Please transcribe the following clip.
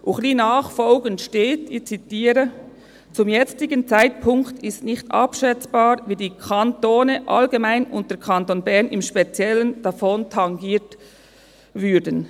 Wenig danach steht, ich zitiere: «Zum jetzigen Zeitpunkt ist nicht abschätzbar, wie die Kantone allgemein und der Kanton Bern im Speziellen davon tangiert würden.